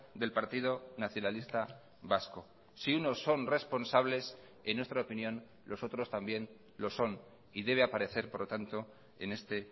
del partido nacionalista vasco si unos son responsables en nuestra opinión los otros también lo son y debe aparecer por lo tanto en este